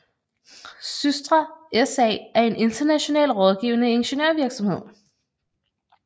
SYSTRA SA er en international rådgivende ingeniørvirksomhed